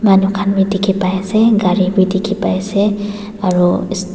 manu khan toh dikhi paise gari bi dikhi paise aro--